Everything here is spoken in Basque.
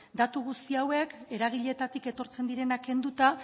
datu guzti hauek eragileetatik etortzen direnak kenduta